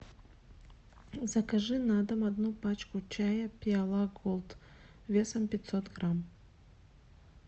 закажи на дом одну пачку чая пиала голд весом пятьсот грамм